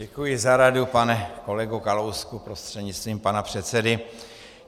Děkuji za radu, pane kolego Kalousku prostřednictvím pana předsedy.